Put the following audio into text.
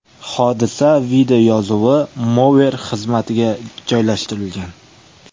Hodisa videoyozuvi Mover xizmatiga joylashtirilgan .